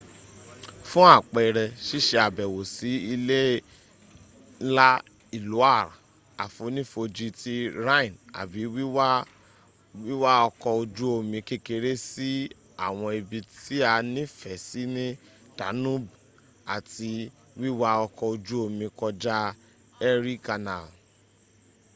fún àpẹrẹ sísé àbẹ̀wò sí ilé ńlá iloire àfonífojì ti rhine àbí wíwá ọkọ̀ ojú omi kekeré sí àwọn ibi tí a nífẹ̀ẹ́ sí ní danube àbí wiwa ọkọ̀ ojú omi kọjá erie canal